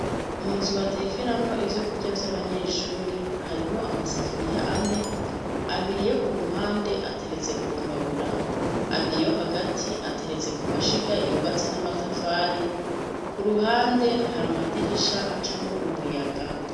Mu nzu batekeramwo ivyo kurya vy'abanyeshure harimwo amasafuriya ane, abiri yo ku mpande ateretse ku mbabura, abiri yo hagati ateretse ku mashiga yubatse n'amatafari ,ku ruhande hari amadirisha acamwo umuyaga.